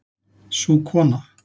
Sú kona